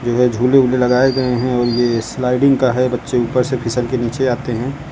यह झूले वूले लगाए गए हैं और ये स्लाइडिंग का है बच्चे ऊपर से फिसल के नीचे आते हैं।